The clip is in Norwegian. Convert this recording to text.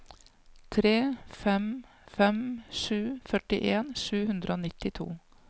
tre fem fem sju førtien sju hundre og nittito